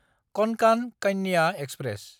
कनकान Kanya express